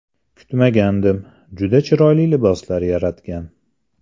Kutmagandim, juda chiroyli liboslar yaratgan.